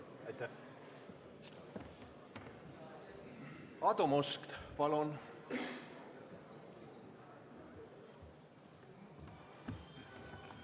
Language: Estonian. Aadu Must, palun!